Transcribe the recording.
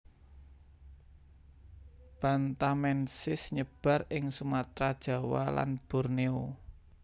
bantamensis nyebar ing Sumatra Jawa lan Borneo